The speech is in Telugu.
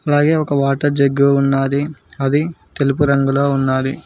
అలాగే ఒక వాటర్ జగ్గు ఉన్నాది అది తెలుపు రంగులో ఉన్నాది.